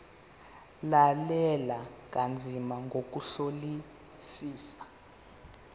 lalela kanzima ngokuhlolisisa